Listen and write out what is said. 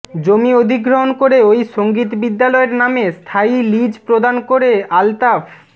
জমি অধিগ্রহণ করে ওই সংগীত বিদ্যালয়ের নামে স্থায়ী লিজ প্রদান করে আলতাফ